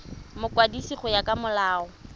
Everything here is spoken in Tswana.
mokwadisi go ya ka molao